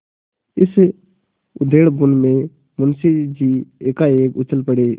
इसी उधेड़बुन में मुंशी जी एकाएक उछल पड़े